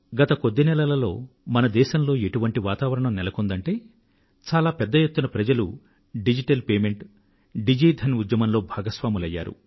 గత కొద్ది నెలలలో మన దేశంలో ఎలాంటి వాతావరణం నెలకొందంటే చాలా పెద్ద ఎత్తున ప్రజలు డిజిటల్ చెల్లింపులు డిజి ధన్ ఉద్యమంలో భాగస్వాములయ్యారు